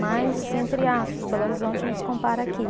Mas, assim, entre aspas, Belo Horizonte não se compara aqui.